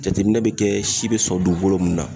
Jateminɛ bɛ kɛ si bɛ sɔrɔ dugukolo mun na.